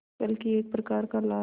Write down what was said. बल्कि एक प्रकार का लाल